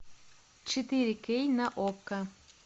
четыре кей на окко